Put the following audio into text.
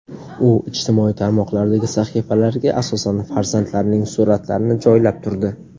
U ijtimoiy tarmoqlardagi sahifalariga asosan farzandlarining suratlarini joylab turdi.